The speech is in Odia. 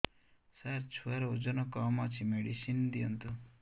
ସାର ଛୁଆର ଓଜନ କମ ଅଛି ମେଡିସିନ ଦିଅନ୍ତୁ